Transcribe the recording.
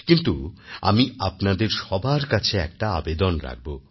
কিন্তু আমি আপনাদের সবার কাছে একটা আবেদন রাখবো